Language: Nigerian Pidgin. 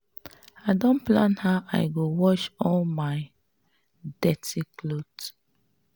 i don plan how i go wash all my dirty cloth